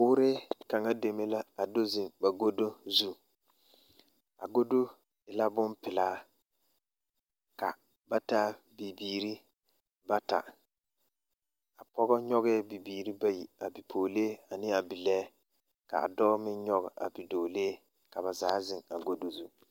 Boore kaŋa deme la a do zeŋ ba ɡodo zu a ɡodo e la bompelaa ka ba taa bibiiri bata a pɔɡe nyɔɡɛɛ bibiiri bayi a bipɔɡelee ane a bilɛɛ ka a dɔɔ meŋ nyɔɡe a bidɔɔlee ka ba zaa zeŋ a ɡodo zu.